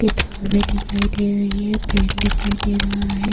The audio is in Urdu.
کتاب بھی دکھایی دے رہا ہے، پن بھی دکھایی دے رہا ہے-